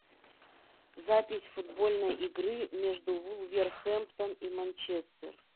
запись футбольной игры между вулверхэмптон и манчестер